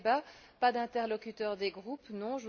Pas de débat, pas d'interlocuteurs des groupes, non.